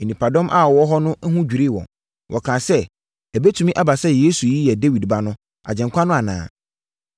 Nnipadɔm a wɔwɔ hɔ no ho dwirii wɔn. Wɔkaa sɛ, “Ɛbɛtumi aba sɛ Yesu yi yɛ Dawid Ba no, Agyenkwa no anaa?”